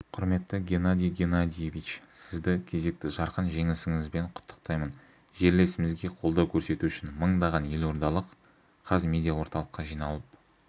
құрметті геннадий геннадиевич сізді кезекті жарқын жеңісіңізбен құттықтаймын жерлесімізге қолдау көрсету үшін мыңдаған елордалық қазмедиаорталыққа жиналып